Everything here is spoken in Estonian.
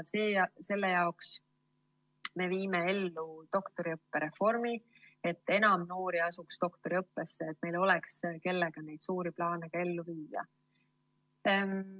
Selle jaoks me viime ellu doktoriõppe reformi, et enam noori asuks doktoriõppesse ja et meil oleks, kellega neid suuri plaane ellu viia.